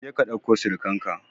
Je ka ɗauko surkan ka!